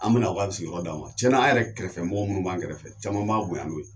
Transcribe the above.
An bɛna u ka sigiyɔrɔ d'an ma tiɲɛ na yɛrɛ kɛrɛfɛ mɔgɔw minnu b'an kɛrɛfɛ caman b'a bonya n'o ye